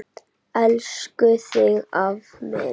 Elska þig afi minn.